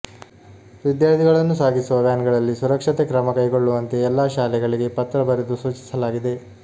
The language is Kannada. ವಿದ್ಯಾರ್ಥಿಗಳನ್ನು ಸಾಗಿಸುವ ವ್ಯಾನ್ಗಳಲ್ಲಿ ಸುರಕ್ಷತೆ ಕ್ರಮ ಕೈಗೊಳ್ಳುವಂತೆ ಎಲ್ಲ ಶಾಲೆಗಳಿಗೆ ಪತ್ರ ಬರೆದು ಸೂಚಿಸಲಾಗಿದೆ